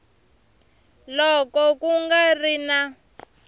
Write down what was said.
loko ku nga ri na